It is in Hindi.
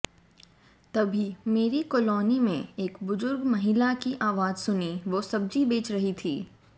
तभी मेरी कॉलोनी में एक बुजुर्ग महिला की आवाज सुनी वो सब्जी बेच रही थी